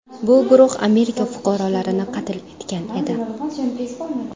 Bu guruh Amerika fuqarolarini qatl etgan edi.